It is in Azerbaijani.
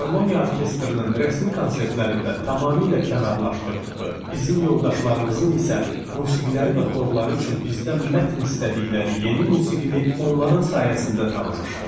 Filarmoniya orkestrinin rəsmi konsertlərində tamamilə kənarlaşdırdığı, bizim yoldaşlarımızın isə musiqiləri və xorları üçün bizdən mətn istədikləri yeni musiqini onların sayəsində tanımışdım.